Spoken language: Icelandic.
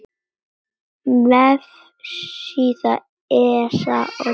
Vefsíða ESA um Títan.